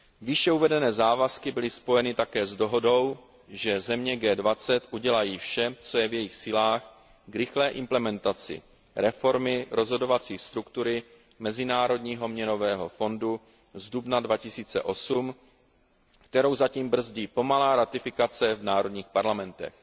Výše uvedené závazky byly spojeny také s dohodou, že země G20 udělají vše, co je v jejich silách k rychlé implementaci reformy rozhodovací struktury Mezinárodního měnového fondu z dubna 2008, kterou zatím brzdí pomalá ratifikace v národních parlamentech.